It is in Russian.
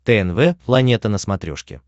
тнв планета на смотрешке